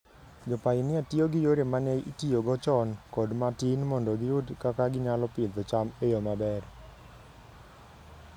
Jopainia tiyo gi yore ma ne itiyogo chon kod ma tin mondo giyud kaka ginyalo pidho cham e yo maber.